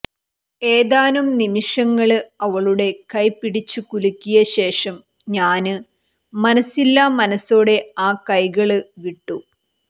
ഏതാനും നിമിഷങ്ങള് അവളുടെ കൈ പിടിച്ചു കുലുക്കിയ ശേഷം ഞാന് മനസില്ലാമനസോടെ ആ കൈകള് വിട്ടു